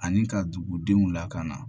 Ani ka dugudenw lakana